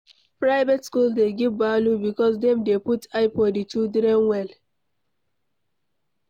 Private school dey give value because dem dey put eye for di children well